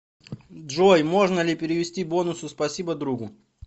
джой можно ли перевести бонусы спасибо другу